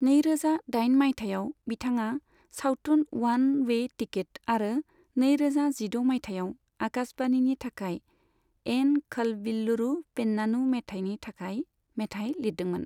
नैरोजा दाइन माइथायाव बिथाङा सावथुन उवान वे टिकिट आरो नैरोजा जिद' माइथायाव आकाशवाणीनि थाखाय एन खलबिल्लुरु पेन्नानु मेथाइनि थाखाइ मेथाइ लिरदोंमोन।